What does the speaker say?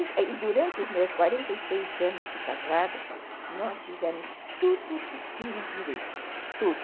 E durante os meus quarenta e seis anos de casada, nós fizemos tudo o que tinha direito, tudo.